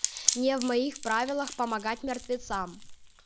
не в моих правилах помогать мертвецам